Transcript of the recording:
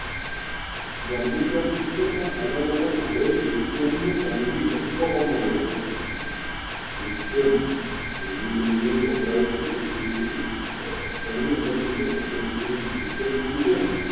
ગરમી તો ઠિક છે પણ અલગ અલગ હોય lithium નો જંગિ જથ્થો પણ મળી આવ્યો છે. lithium basically જે વપરાય છે. એ ગણી અલગ રિતે પધ્ધ્તીથિ lithium સુ છે ને.